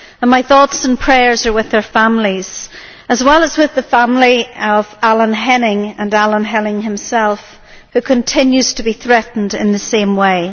My thoughts and prayers are with their families, as well as with the family of Alan Henning and Alan Henning himself, who continues to be threatened in the same way.